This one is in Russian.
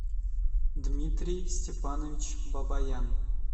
дмитрий степанович бабаян